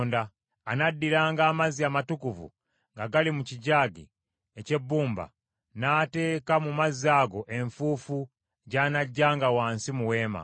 Anaddiranga amazzi amatukuvu nga gali mu kijaagi eky’ebbumba n’ateeka mu mazzi ago enfuufu gy’anaggyanga wansi mu Weema.